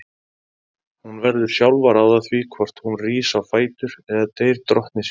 Hún verður sjálf að ráða því hvort hún rís á fætur eða deyr drottni sínum.